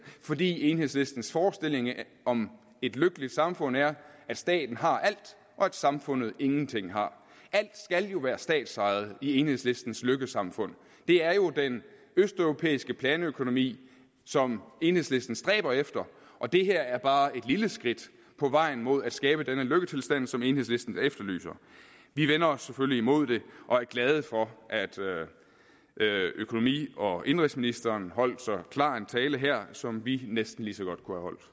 fordi enhedslistens forestilling om et lykkeligt samfund er at staten har alt og at samfundet ingenting har alt skal jo være statsejet i enhedslistens lykkesamfund det er jo den østeuropæiske planøkonomi som enhedslisten stræber efter og det her er bare et lille skridt på vejen mod at skabe denne lykketilstand som enhedslisten efterlyser vi vender os selvfølgelig imod det og er glade for at økonomi og indenrigsministeren holdt så klar en tale her som vi næsten lige så godt